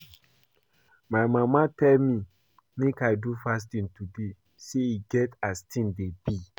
My mama tell me make I do fasting today say e get as things be